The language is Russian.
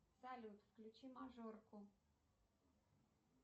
салют включи мажорку